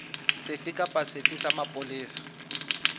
sefe kapa sefe sa mapolesa